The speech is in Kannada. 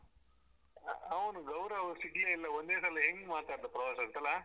ಅವ್ನು ಗೌರವ್ ಸಿಗ್ಲೇ ಇಲ್ಲ ಒಂದೇ ಸಲ ಹೆಂಗ್ ಮಾತಾಡ್ದ ಪ್ರವಾಸದ್ದು ಅಲಾ.